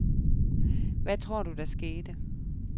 Hvad tror du, der skete?